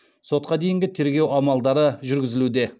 сотқа дейінгі тергеу амалдары жүргізілуде